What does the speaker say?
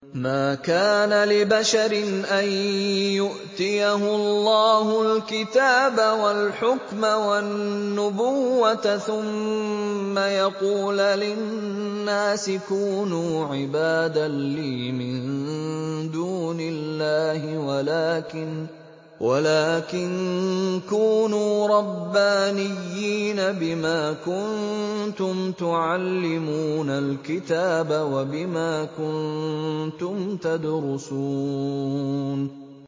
مَا كَانَ لِبَشَرٍ أَن يُؤْتِيَهُ اللَّهُ الْكِتَابَ وَالْحُكْمَ وَالنُّبُوَّةَ ثُمَّ يَقُولَ لِلنَّاسِ كُونُوا عِبَادًا لِّي مِن دُونِ اللَّهِ وَلَٰكِن كُونُوا رَبَّانِيِّينَ بِمَا كُنتُمْ تُعَلِّمُونَ الْكِتَابَ وَبِمَا كُنتُمْ تَدْرُسُونَ